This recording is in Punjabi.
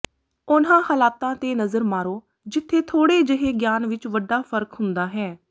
ਉਨ੍ਹਾਂ ਹਾਲਾਤਾਂ ਤੇ ਨਜ਼ਰ ਮਾਰੋ ਜਿੱਥੇ ਥੋੜ੍ਹੇ ਜਿਹੇ ਗਿਆਨ ਵਿਚ ਵੱਡਾ ਫ਼ਰਕ ਹੁੰਦਾ ਹੈ